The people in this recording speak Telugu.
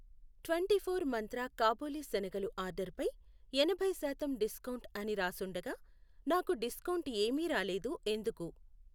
ట్వెంటీఫోర్ మంత్ర కాబులి శనగలు ఆర్డరుపై ఎనభై శాతం డిస్కౌంట్ అని రాసుండగా నాకు డిస్కౌంట్ ఏమీ రాలేదు ఎందుకు?